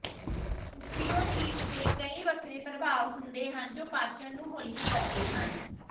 opioids ਦੇ ਕਈ ਵੱਖਰੇ ਪ੍ਰਭਾਵ ਹੁੰਦੇ ਹਨ ਜੋ ਪਾਚਨ ਨੂੰ ਹੌਲੀ ਕਰਦੇ ਹਨ